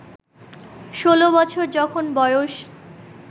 ষোলো বছর যখন বয়স